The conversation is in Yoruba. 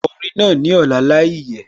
Ko orin náà ní ọ̀la láìyẹ̀